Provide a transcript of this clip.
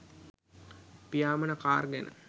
පියාඹන car ගැන